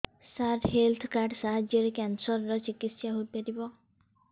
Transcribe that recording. ସାର health card ସାହାଯ୍ୟରେ cancer ର ଚିକିତ୍ସା ହେଇପାରିବ